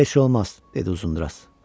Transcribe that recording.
Heçnə olmaz, dedi Uzundraz.